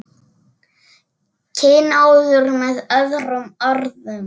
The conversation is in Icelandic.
Kynóður með öðrum orðum.